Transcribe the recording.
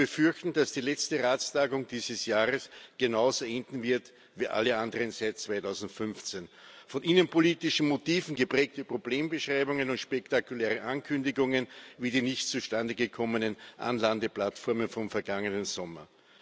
Es ist zu befürchten, dass die letzte Ratstagung dieses Jahres genauso enden wird wie alle anderen seit 2015 von innenpolitischen Motiven geprägte Problembeschreibungen und spektakuläre Ankündigungen wie die nicht zustande gekommenen Anlandeplattformen vom vergangenen Sommer.